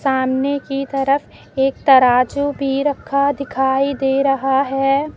सामने की तरफ एक तराजू भी रखा दिखाई दे रहा है।